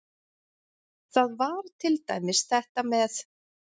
Það var til dæmis þetta með